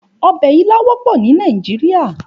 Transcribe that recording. Òbè ilã wòpò ni Nàijiriá